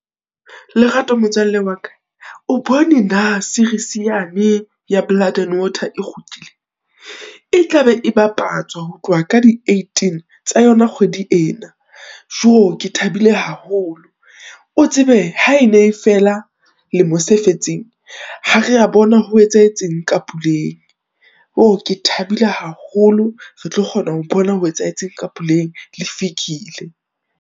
Lerato motswalle wa ka, o bone na series yane ya Blood and Water e kgutlile? e tlabe e bapatswa ho tloha ka di eighteen tsa yona kgwedi ena. Jooo! ke thabile haholo, o tsebe ha e ne e fela lemo se fetseng, ha rea bona ho etsahetseng ka Puleng, ke thabile haholo, re tlo kgona ho bona ho etsahetseng ka Puleng le Fikile.